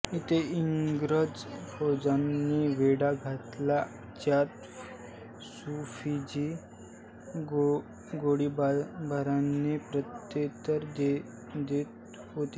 इथेच इंग्रज फौजांनी वेढा घातला ज्यात सूफीजी गोळीबाराने प्रत्युतर देत होते